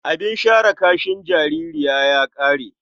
Abin share kashin jaririn ya ƙare.